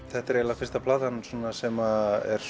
þetta er eiginlega fyrsta platan sem er